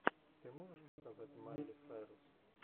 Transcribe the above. ты можешь показать майли сайрус